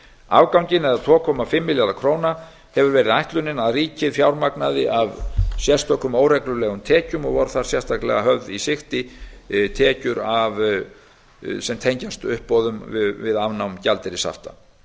afganginn það er tvö komma fimm milljarða króna hefur verið ætlunin að ríkið fjármagnaði af sérstökum óreglulegum tekjum og voru þar sérstaklega hafðar í sigti tekjur sem tengjast uppboðum við afnám gjaldeyrishafta